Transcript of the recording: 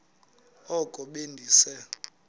oko be ndise